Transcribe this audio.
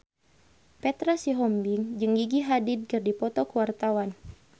Petra Sihombing jeung Gigi Hadid keur dipoto ku wartawan